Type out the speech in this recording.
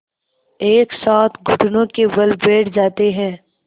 एक साथ घुटनों के बल बैठ जाते हैं